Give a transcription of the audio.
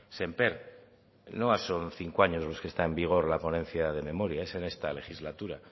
sémper no son cinco años lo que está en vigor la ponencia de memoria es en esta legislatura